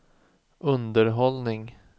underhållning